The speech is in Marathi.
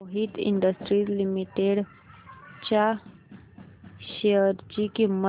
मोहित इंडस्ट्रीज लिमिटेड च्या शेअर ची किंमत